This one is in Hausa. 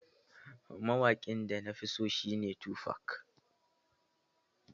Mawaƙin da na fi so shi ne Tufac.